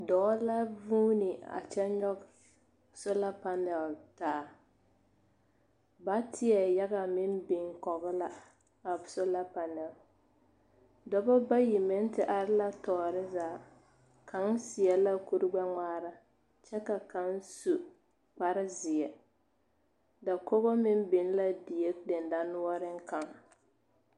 Dͻͻ la vuuni a kyԑ nyͻge sola panaal a taa. Bateԑ yaga meŋ kͻge la a sola panԑl. dͻͻ bayi meŋ te are la tͻͻre zaa. Kaŋ seԑ la kuri gbԑ ŋmaara kyԑ ka kaŋ su kpare zeԑ. Dakogi meŋ biŋ la die dendͻnoͻreŋ kaŋ.